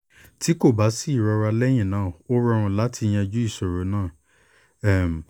ti ko ba si irora lẹhinna o rọrun lati yanju iṣoro naa um